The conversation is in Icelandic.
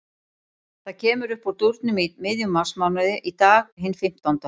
Það kemur uppúr dúrnum í miðjum marsmánuði, í dag, hinn fimmtánda.